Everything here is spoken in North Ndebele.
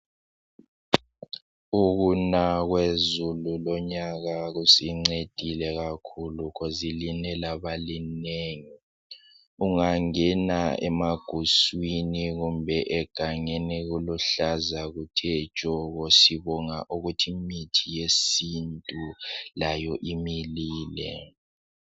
Ukuna kwezulu lonyaka kusincedile kakhulu khozi line laba linengi ungangena emaguswini kumbe egangeni kuluhlaza kuthe tshoko sibonga ukuthi imithi yesintu layo imilile.